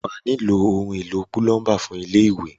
Wà á nílò ohun-èlo púlọ́ḿbà fún ilé-ìwẹ̀.